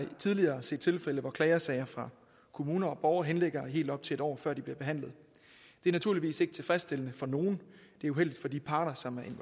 tidligere set tilfælde hvor klagesager fra kommuner og borgere henligger helt op til et år før de bliver behandlet det er naturligvis ikke tilfredsstillende for nogen det er uheldigt for de parter som